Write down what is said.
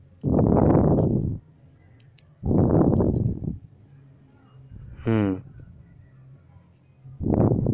হু